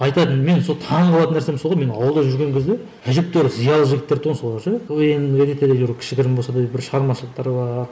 айтады білмеймін сол таңғалатын нәрсем сол ғой мен ауылда жүрген кезде әжептеуір зиялы жігіттер тұғын солар ше квн де не етеді кішігірім болса да бір шығармашылықтары бар